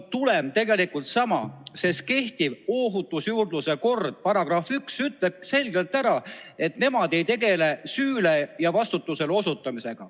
Tulem on aga tegelikult sama, sest kehtiva ohutusjuurdluse korra § 1 ütleb selgelt, et nende eesmärk ei ole süüle ja vastutusele osutamine.